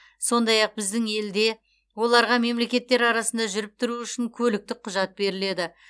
сондай ақ біздің елде оларға мемлекеттер арасында жүріп тұруы үшін көліктік құжат беріледі